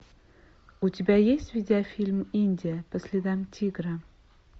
у тебя есть видеофильм индия по следам тигра